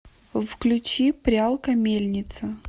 включи прялка мельница